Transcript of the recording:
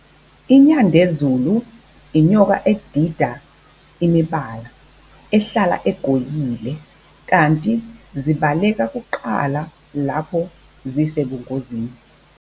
INyandezulu inyoka edida imibala, ehlala egoyile, kanti zibaleka kuqala lapho zisebungozini.